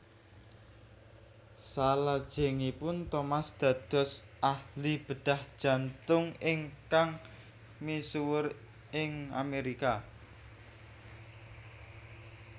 Salajengipun Thomas dados ahli bedhah jantung ingkang misuwur ing Amérika